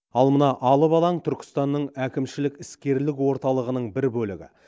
ал мына алып алаң түркістанның әкімшілік іскерлік орталығының бір бөлігі